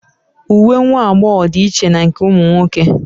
Uwe nwa agbọghọ dị iche na nke ụmụ nwoke